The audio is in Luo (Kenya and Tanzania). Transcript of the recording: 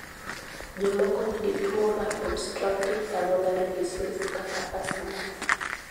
Jomoko nigi tuwo mar obstructive pulmonary disease (COPD) kata asthma.